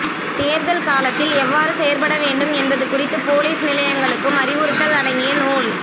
தேர்தல் காலத்தில் எவ்வாறு செயற்பட வேண்டும் என்பது குறித்து பொலிஸ் நிலையங்களுக்கும் அறிவுறுத்தல் அடங்கிய நூல்